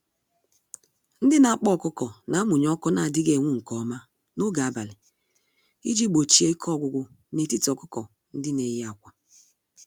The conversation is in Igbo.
Ndị n'akpa ọkụkọ namụnye ọkụ n'adịghị enwu nke ọma n'oge abalị, iji gbochie ike ọgwụgwụ n'etiti ọkụkọ-ndị-neyi-ákwà.